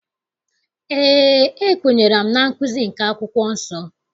Eé, ekwenyere m na nkụzi nke akwụkwọ nsọ.